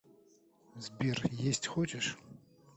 сбер есть хочешь